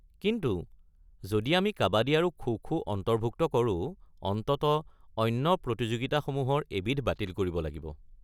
কিন্তু যদি আমি কাবাদী আৰু খো-খো অন্তৰ্ভুক্ত কৰো, অন্ততঃ অন্য প্ৰতিযোগিতাসমূহৰ এবিধ বাতিল কৰিব লাগিব।